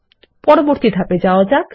পরবর্তী ধাপে এগিয়ে যান